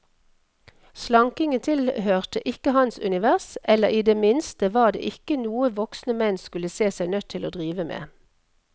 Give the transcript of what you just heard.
Slankingen tilhørte ikke hans univers, eller i det minste var det ikke noe voksne menn skulle se seg nødt til å drive med.